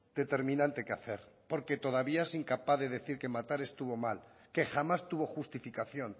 determinante que hacer porque todavía es incapaz de decir que matar estuvo mal que jamás tuvo justificación